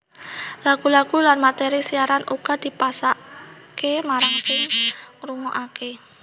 Lagu lagu lan materi siaran uga dipasake marang sing ngrungokake